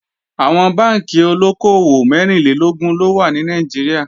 Àwọn Bánkì olóko-òwò mẹ́rìnlélógún ló wà ní Nàìjíríà